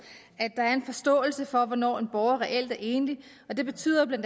at der er en forståelse for hvornår en borger reelt er enlig det betyder bla